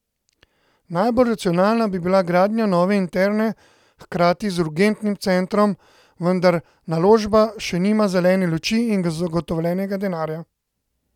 Najbolj racionalna bi bila gradnja nove interne hkrati z urgentnim centrom, vendar naložba še nima zelene luči in zagotovljenega denarja.